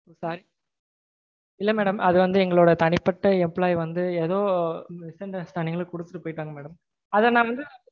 இல்ல madam அது வந்து எங்களோட தனிப்பட்ட employee வந்து ஏதொ misunderstanding ல கொடுத்துட்டு போயிட்டாங்க madam. அத நா வந்து